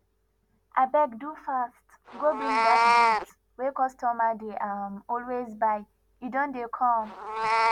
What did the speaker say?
abeg do fast go bring dat goods wey customer dey um always buy e don dey come